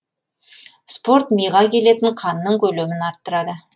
спорт миға келетін қанның көлемін арттырады